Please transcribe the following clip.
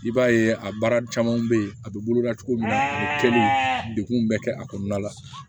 I b'a ye a baara camanw bɛ ye a bɛ boloda cogo min na degun bɛ kɛ a kɔnɔna la